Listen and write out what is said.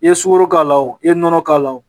I ye sukoro k'a la i ye nɔnɔ k'a la